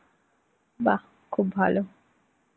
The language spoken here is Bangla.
বাহ্, খুব ভালো.